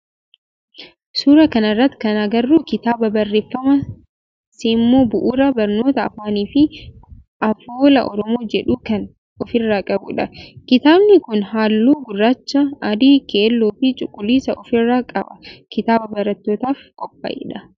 Suuraa kana irratti kan agarru kitaaba barreeffama seemmoo bu'uura barnoota afaanifii afoola oromoo jedhu kan ofirraa qabudha. Kitaabni kun halluu gurraacha, adii, keelloo fi cuquliisa ofirraa qaba. Kitaaba barattootaf qophaa'edha.